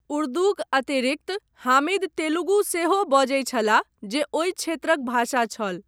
उर्दूक अतिरिक्त हामिद तेलुगु सेहो बजैत छलाह, जे ओहि क्षेत्रक भाषा छल।